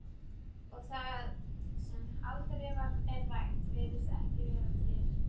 Og það sem aldrei er rætt virðist ekki vera til.